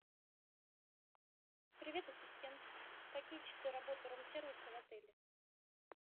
привет ассистент какие часы работы рум сервиса в отеле